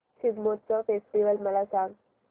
Shigmotsav festival मला सांग